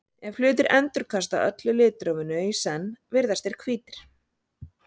ef hlutir endurkasta öllu litrófinu í senn virðast þeir hvítir